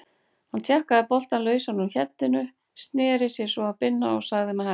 Hann tjakkaði boltann lausan úr heddinu, sneri sér svo að Binna og sagði með hægð